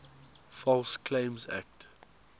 false claims act